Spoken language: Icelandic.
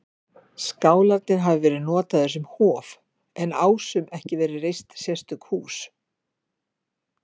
Skálarnir hafi verið notaðir sem hof, en Ásum ekki verið reist sérstök hús.